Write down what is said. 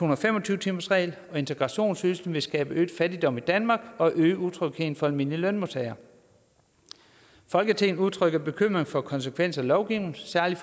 og fem og tyve timersregel og integrationsydelse vil skabe øget fattigdom i danmark og øge utrygheden for almindelige lønmodtagere folketinget udtrykker bekymring for konsekvenserne af lovgivningen særligt